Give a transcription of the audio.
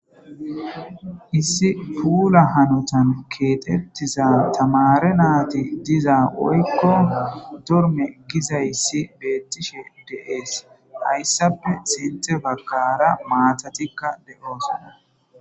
issi puula hanotan keexettiza tamare naati diza woykko dorme gizayssi beettishe deees hayssape sinthe bagara maatatikka de7oosona